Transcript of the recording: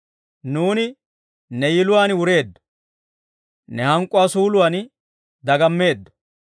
Nuuni ne yiluwaan wureeddo; ne hank'k'uwaa suuluwaan dagammeeddo.